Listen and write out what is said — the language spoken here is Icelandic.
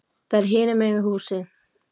Það er hinum megin við húsið.